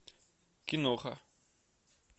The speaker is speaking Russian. киноха